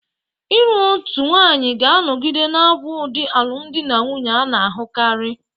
Ịlụ otu nwanyị ga-anọgide na-abụ ụdị alụmdi na nwunye a na-ahụkarị.